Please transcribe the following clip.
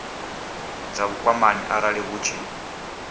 dza vhukwamani arali hu tshi